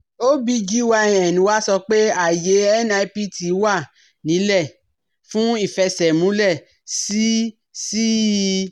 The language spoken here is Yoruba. OBGYN wa sọ pé ààyè NIPT wà ńílẹ̀ fún ìfẹsẹ̀múlẹ̀ sí sí i